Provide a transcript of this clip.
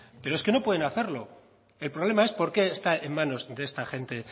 pero es que no pueden hacerlo el problema es por qué está en manos de esta gente